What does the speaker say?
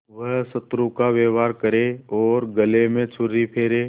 वह शत्रु का व्यवहार करे और गले पर छुरी फेरे